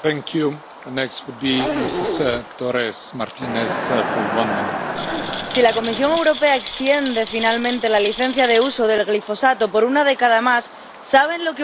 Señor presidente, si la Comisión Europea extiende finalmente la licencia de uso del glifosato por una década más, ¿saben lo que ocurrirá?